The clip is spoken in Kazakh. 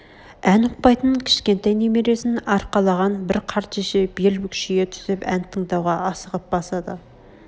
ән ұқпайтын кішкентай немересн арқалаған бір қарт шеше бел бүкшие түсіп ән тыңдауға асыға басады